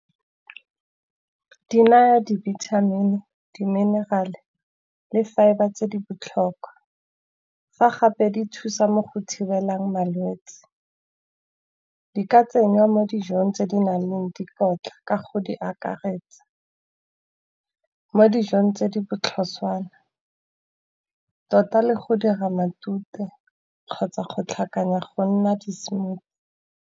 Di naya di-vitamin-i, di-mineral-e, le fibre tse di botlhokwa. Fa gape di thusa mo go thibelang malwetsi, di ka tsenngwa mo dijong tse di nang le dikotla, ka go di akaretsa. Mo dijong tse di botlhoswana tota le go dira matute kgotsa go tlhakanya go nna di-smoothie.